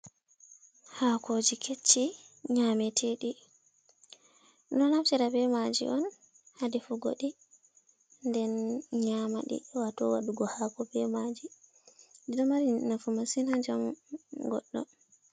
Hako ji kecci nyamete ɗi. Ɗum ɗo naftira be maji on ha defugo ɗi, nden nyama ɗi, wato waɗugo hako be maji. Ɗiɗo mari nafu masin ha njamu goɗɗo.